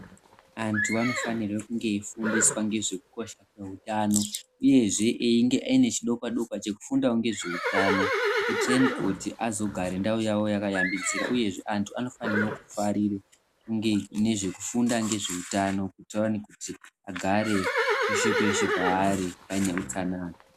Andu anofanirwa kunge eyifundisa ngezvekukosha kweutano uyezvee eyinge ane chidokwa dokwa chekufundawo ngezveutano kuitireni kuti azogare ndawo yavo yaaka yambidzira uyezvee vandu anofanire kufarira kufunda ngezveutano kuitira kuti agare peshe peshe paari pane hutsanana.